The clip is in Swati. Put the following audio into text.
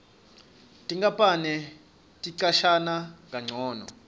tinkapani ticashana kancono